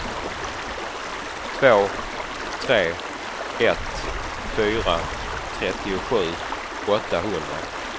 två tre ett fyra trettiosju åttahundra